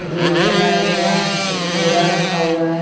Gate बनाया गया है एक बोरा रखा हुआ है ।